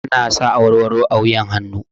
Ana sa awarwaro a wuyan hannu